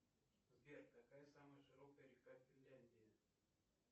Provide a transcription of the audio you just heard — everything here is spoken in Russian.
сбер какая самая широкая река в финляндии